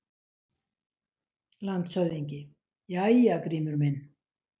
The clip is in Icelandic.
LANDSHÖFÐINGI: Jæja, Grímur minn!